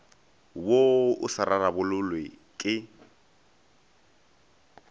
wo o sa rarabololwe ke